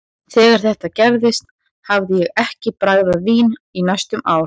Þegar þetta gerðist hafði ég ekki bragðað vín í næstum ár.